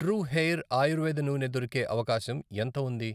True hair ఆయుర్వేద నూనె దొరికే అవకాశం ఎంత ఉంది?